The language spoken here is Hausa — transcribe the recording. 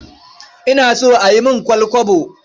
Ina so a yi min ƙwal-kwabo.